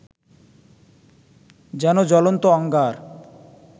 যেন জ্বলন্ত অঙ্গার